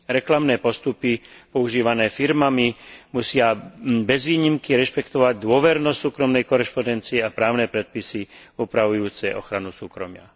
Reklamné postupy používané firmami musia bez výnimky rešpektovať dôvernosť súkromnej korešpondencie a právne predpisy upravujúce ochranu súkromia.